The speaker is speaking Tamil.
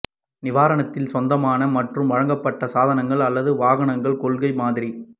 நிறுவனத்தின் சொந்தமான மற்றும் வழங்கப்பட்ட சாதனங்கள் அல்லது வாகனங்கள் கொள்கை மாதிரி